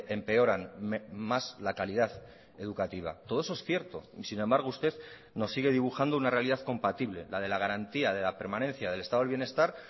empeoran más la calidad educativa todo eso es cierto y sin embargo usted nos sigue dibujando una realidad compatible la de la garantía de la permanencia del estado del bienestar